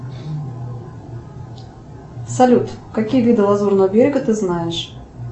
салют какие виды лазурного берега ты знаешь